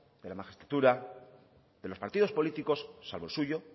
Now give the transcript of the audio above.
de la magistratura de los partidos políticos salvo el suyo